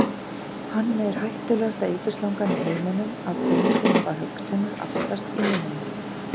Hann er hættulegasta eiturslangan í heiminum af þeim sem hafa höggtennur aftast í munninum.